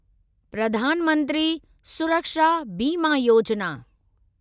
Pradhan Mantri Suraksha Bima Yojana